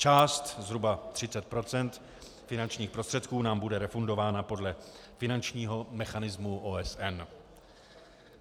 Část, zhruba 30 % finančních prostředků, nám bude refundována podle finančního mechanismu OSN.